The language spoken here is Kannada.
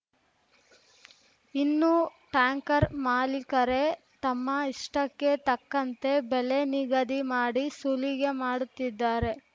ಇನ್ನು ಟ್ಯಾಂಕರ್ ಮಾಲೀಕರೇ ತಮ್ಮ ಇಷ್ಟಕ್ಕೆ ತಕ್ಕಂತೆ ಬೆಲೆ ನಿಗದಿ ಮಾಡಿ ಸುಲಿಗೆ ಮಾಡುತ್ತಿದ್ದಾರೆ